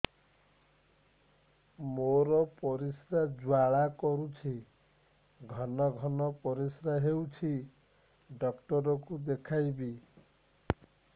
ମୋର ପରିଶ୍ରା ଜ୍ୱାଳା କରୁଛି ଘନ ଘନ ପରିଶ୍ରା ହେଉଛି ଡକ୍ଟର କୁ ଦେଖାଇବି